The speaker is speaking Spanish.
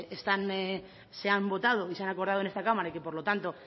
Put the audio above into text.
están se han votado y se han acordado en esta cámara y que por lo tanto